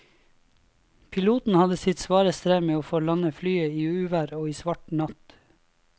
Piloten hadde sitt svare strev med å få landet flyet i uvær og svart natt.